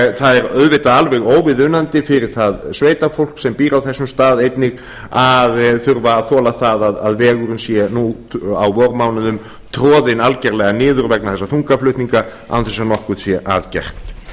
það er auðvitað alveg óviðunandi fyrir það sveitafólk sem býr á þessum stað einnig að þurfa að þola það að vegurinn sé nú á vormánuðum troðinn algjörlega niður vegna þessara þungaflutninga án þess að nokkuð sé að gert